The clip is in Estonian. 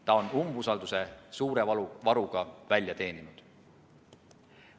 Ta on umbusalduse suure varuga välja teeninud.